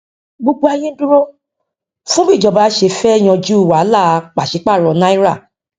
gbogbo ayé ń dúró fún bí ìjọba ṣe fẹ yanjú wàhálà pàṣẹ paro náírà